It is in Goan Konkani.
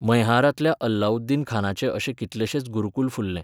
मैहारांतल्या अलाउद्दीन खानाचे अशे कितलेशेच गुरूकुल फुल्ले.